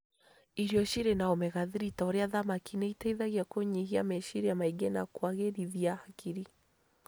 Irio cirĩ na Omega-3 ta ũrĩa thamaki nĩ ĩteithagia kũnyihiameciria maingĩ na kũagĩrithia hakiri